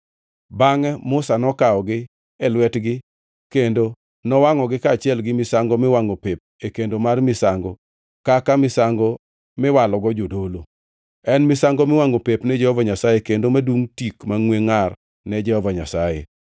Bangʼe Musa nokawogi e lwetgi kendo nowangʼogi kaachiel gi misango miwangʼo pep e kendo mar misango kaka misango miwalogo jodolo. En misango miwangʼo pep ne Jehova Nyasaye kendo madum tik mangʼwe ngʼar ne Jehova Nyasaye.